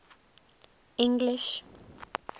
english